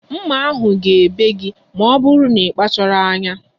Mma ahu ga-ebe gi ma ọ bụrụ n'ikpachaghi anya